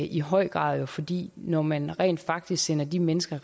i høj grad fordi når man rent faktisk sender de mennesker